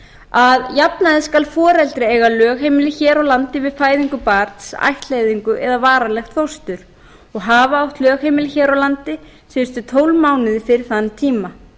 að jafnaði skal foreldri eiga lögheimili hér á landi við fæðingu barns ættleiðingu eða varanlegs fóstur og hafa átt lögheimili hér á landi síðustu tólf mánuði fyrir þann tíma